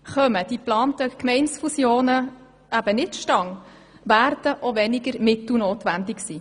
Kommen die geplanten Gemeindefusionen nicht zustande, werden auch weniger Mittel notwendig sein.